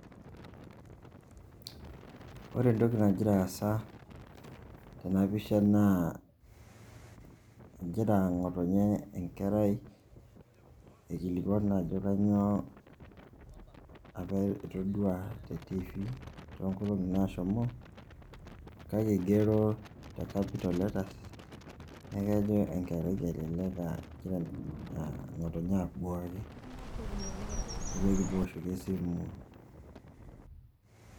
Ore entoki najira aasa tena pishaa naa ejira ng'otonye enkerai aikilikuan ajo kanyo apa itodua te tiivi too nkoloni nashomo kake igero te capital letter neeku ejo enkerai elelek egira nkotonye abuaki, nejoki tooshoki esimu.